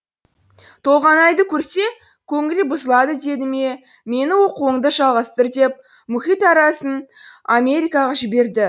толғанайды көрсе көңілі бұзылады деді ме мені оқуыңды жалғастыр деп мұхит америкаға жіберді